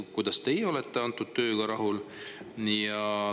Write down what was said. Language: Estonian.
Kuidas teie olete antud tööga rahul?